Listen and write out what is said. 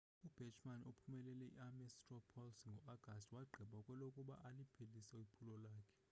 ubachmann ophumelele i-ames straw poll ngo-agasti wagqiba kwelokuba aliphelise iphulo lakhe